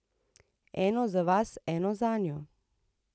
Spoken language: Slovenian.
Eno za vas, eno zanjo.